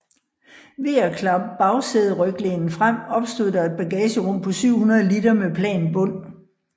Ved at klappe bagsæderyglænet frem opstod der et bagagerum på 700 liter med plan bund